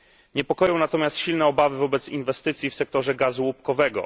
Niepokoją natomiast silne obawy wobec inwestycji w sektorze gazu łupkowego.